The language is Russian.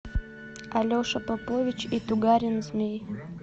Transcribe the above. алеша попович и тугарин змей